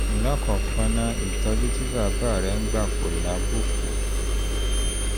lákọ̀ọ́kọ́ ná ìtọ́jú tí bàbá rẹ ń gbà kò lábùkù